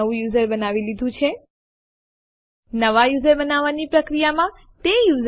જો તમે ઈચ્છતા હોઉં કે અંતિમ ડિરેક્ટરીમાં ફાઇલ નું નામ સમાન હોય તમે કદાચ ફાઈલ નામ ઉલ્લેખ ન કર્યો હોય